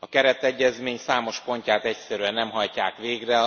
A Keretegyezmény számos pontját egyszerűen nem hajtják végre,